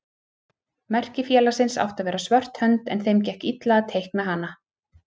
Merki félagsins átti að vera svört hönd en þeim gekk illa að teikna hana.